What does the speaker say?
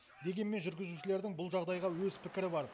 дегенмен жүргізушілердің бұл жағдайға өз пікірі бар